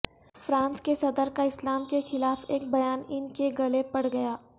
France کے صدر کا اسلام کے خلاف ایک بیان ان کے گلے پڑ گیا